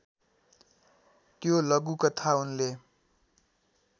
त्यो लघुकथा उनले